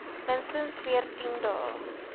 minstens veertien dae